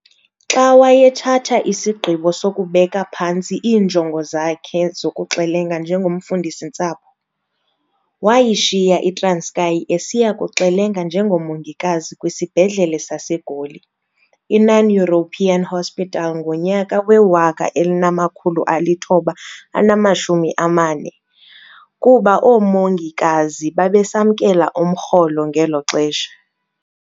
Xa waye wathatha isigqibo sokubeka phantsi iinjongo zakhe zokuxelenga njengomfundisi-ntsapho, wayishiya iTranskei esiya kuxelenga njengomongikazi kwisibhedlele saseGoli, iNon-European Hospital ngonyaka we-1940, kuba oomongikazi babesamkela umrholo ngeloxesha.